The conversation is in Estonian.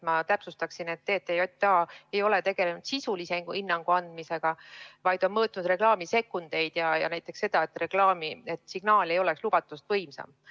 Ma täpsustan, et TTJA ei ole tegelenud sisulise hinnangu andmisega, vaid on mõõtnud reklaami sekundeid ja näiteks seda, et signaal ei oleks lubatust võimsam.